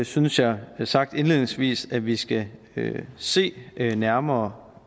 synes jeg sagt indledningsvis at vi skal se nærmere